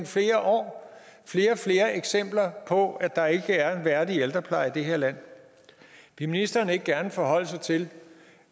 flere og flere flere eksempler på nemlig at der ikke er værdig ældrepleje i det her land vil ministeren ikke gerne forholde sig til